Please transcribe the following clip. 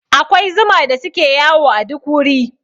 Akwai zuma da suke yawo a duk wuri.